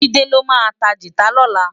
Jide lô ma tá gitá lòlá